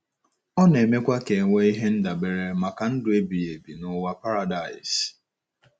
Ọ na-emekwa ka e nwee ihe ndabere maka ndụ ebighị ebi n'ụwa paradaịs.